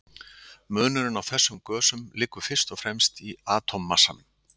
Munurinn á þessum gösum liggur fyrst og fremst í atómmassanum.